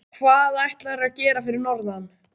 Hvað ætlarðu að gera fyrir norðan?